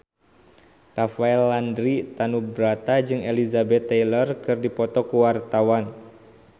Rafael Landry Tanubrata jeung Elizabeth Taylor keur dipoto ku wartawan